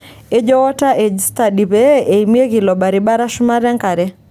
Etejo Water Edge Study pee eimieki ilo baribara shumata enkare.